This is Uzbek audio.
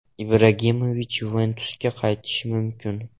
Ibragimovich “Yuventus”ga qaytishi mumkin.